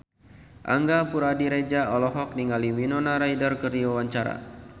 Angga Puradiredja olohok ningali Winona Ryder keur diwawancara